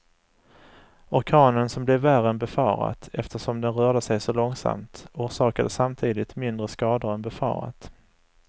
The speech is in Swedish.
Orkanen som blev värre än befarat eftersom den rörde sig så långsamt, orsakade samtidigt mindre skador än befarat.